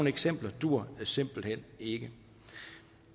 eksempler duer simpelt hen ikke